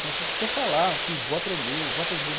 Então você precisa falar que eu vou aprender, eu vou aprender.